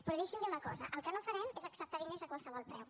però deixi’m dir una cosa el que no farem és acceptar diners a qualsevol preu